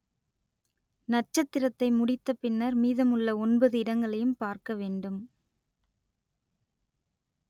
நட்சத்திரத்தை முடித்த பின்னர் மீதமுள்ள ஒன்பது இடங்களையும் பார்க்க வேண்டும்